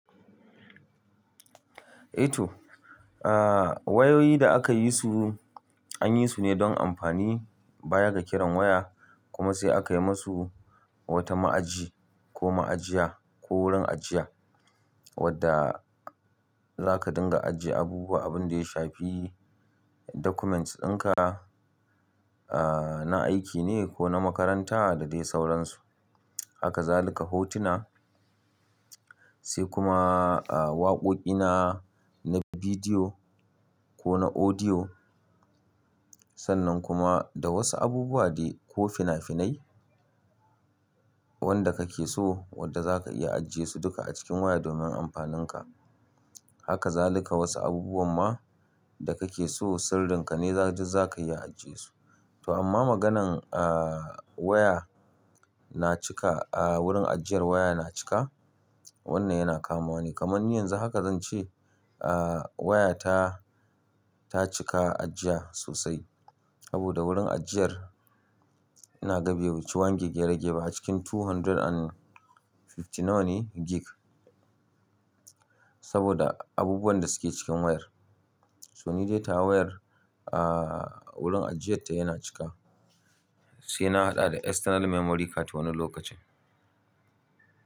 Ato aaa wayoyi da aka yi su an yi su ne don amfani baya ga kiran waya kuma sai aka yi musu wata ma'aji ko ma'ajiya ko wurin ajiya wadda za ka dinga ajiye abubuwa abin da ya shafi documents ɗinka aaaa na aiki ne ko na makaranta da dai sauransu. Haka za ka lika hotuna sai kuma aaaa waƙoƙina na bidiyo ko na audio. Sannan kuma da wasu abubuwa dai ko fina-finai wanda kake so wadda za ka iya ajiye su duka a cikin waya domin amfaninka. Haka za ka lika wasu abubuwan ma da kake so sirrinka ne za duk zaka iya ajiye su. To amma maganan aaaa waya na cika a wurin ajiyar waya na cika wannan yana kamawa ne. Kamar ni yanzu haka zan ce aaaa wayata ta cika ajiya sosai aboda wurin ajiyar ina ga bai wuci one gb a cikin two hundred and fifty nawa ne gig saboda abubuwan da suke cikin wayar. So ni dai tawa wayar aaaa wurin ajiyar ta yana cika sai na haɗa da external memory card wani lokacin.